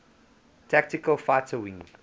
tactical fighter wing